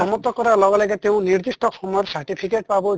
সমাপ্ত কৰা লগে লগে তেওঁ নিদিষ্ট সময়ৰ certificate পাব